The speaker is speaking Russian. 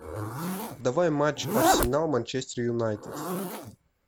давай матч арсенал манчестер юнайтед